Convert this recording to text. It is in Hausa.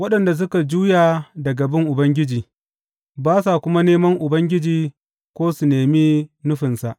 Waɗanda suka juya daga bin Ubangiji, ba sa kuma neman Ubangiji ko su nemi nufinsa.